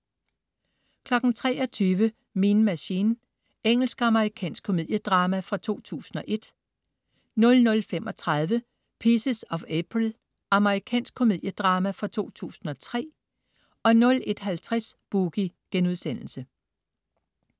23.00 Mean Machine. Engelsk-amerikansk komediedrama fra 2001 00.35 Pieces of April. Amerikansk komediedrama fra 2003 01.50 Boogie*